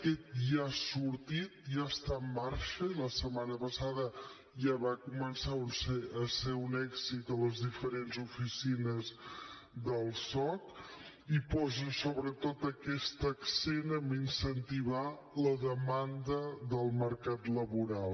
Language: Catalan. aquest ja ha sortit ja està en marxa i la setmana passada ja va començar a ser un èxit a les diferents oficines del soc i posa sobretot aquest accent a incentivar la demanda del mercat laboral